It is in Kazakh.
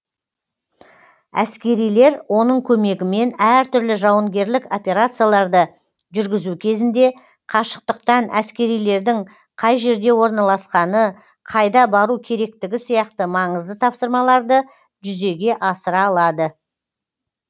әскерилер оның көмегімен әртүрлі жауынгерлік операцияларды жүргізу кезінде қашықтықтан әскерилердің қай жерде орналасқаны қайда бару керектігі сияқты маңызды тапсырмаларды жүзеге асыра алады